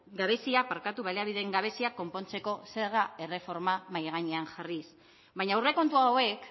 gabeziak konpontzeko zerga erreforma mahai gainean jarriz baina aurrekontu hauek